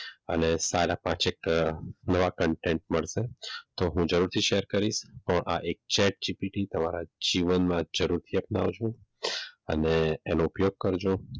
અને સારા પાંચેક નવા contain મળશે તો જરૂરથી હું શેર કરીશ પણ આ એક છે એસજીપીટી તમારા તમારા જીવનમાં જરૂરથી અપનાવજો અને એનો ઉપયોગ કરજો.